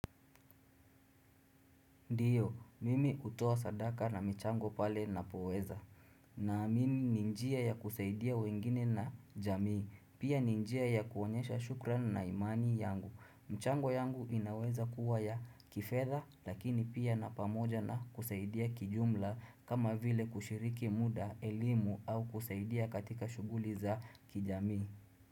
Ndio, mimi hutoa sadaka na michango pale ninapoweza. Naamini ni njia ya kusaidia wengine na jamii, pia ni njia ya kuonyesha shukrani na imani yangu. Michango yangu inaweza kuwa ya kifedha lakini pia na pamoja na kusaidia kijumla kama vile kushiriki muda, elimu au kusaidia katika shughuli za kijamii.